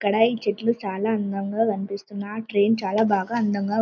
ఇక్కడ ఈ చెట్లు చాలా అందంగా కనిపిస్తున్నాయి నా ట్రైన్ చాలా అందంగా--